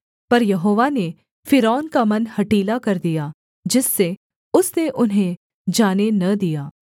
पर यहोवा ने फ़िरौन का मन हठीला कर दिया जिससे उसने उन्हें जाने न दिया